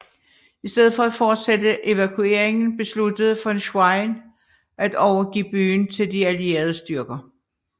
I stedet for at fortsætte evakueringen besluttede von Schwerin at overgive byen til de allierede styrker